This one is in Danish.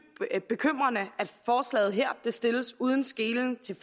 bekymrende at forslaget her stilles uden skelen til